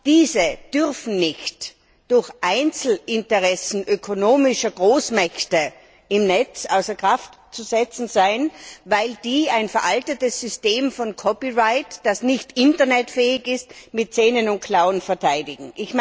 Diese dürfen nicht durch Einzelinteressen ökonomischer Großmächte im Netz außer Kraft gesetzt werden, weil diese ein veraltetes Copyright System, das nicht internetfähig ist, mit Zähnen und Klauen verteidigen.